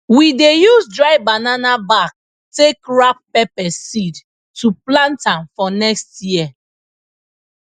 we dey use dry banana back take wrap pepper seed to plant am for next year